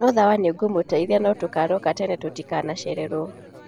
Ni sawa nĩngũmageithia na tugokĩra tene tutikanacererwo